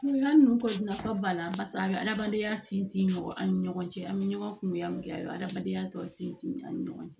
Kungoya nun ko nafa b'a la barisa a bɛ adamadenya sinsin an ni ɲɔgɔn cɛ an bɛ ɲɔgɔn kungoya min kɛ a bɛ adamadenya tɔ sinsin an ni ɲɔgɔn cɛ